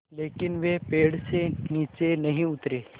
लेकिन वे पेड़ से नीचे नहीं उतरे